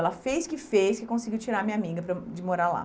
Ela fez o que fez que conseguiu tirar a minha amiga para de morar lá.